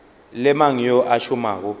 le mang yo a šomago